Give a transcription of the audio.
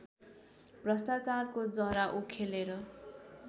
भ्रष्टाचारको जरा उखेलेर